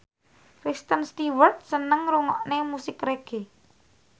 Kristen Stewart seneng ngrungokne musik reggae